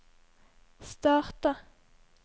starta